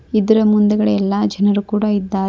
ಇದ್ರ ಮುಂದ್ಗಡೆ ಎಲ್ಲಾ ಜನರು ಕೂಡ ಇದ್ದಾರೆ.